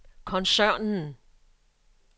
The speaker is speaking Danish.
koncernen